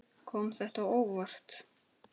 Gunnar: Kom þetta á óvart?